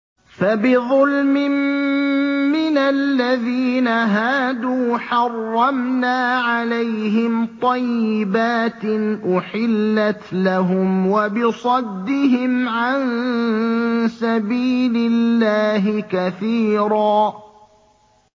فَبِظُلْمٍ مِّنَ الَّذِينَ هَادُوا حَرَّمْنَا عَلَيْهِمْ طَيِّبَاتٍ أُحِلَّتْ لَهُمْ وَبِصَدِّهِمْ عَن سَبِيلِ اللَّهِ كَثِيرًا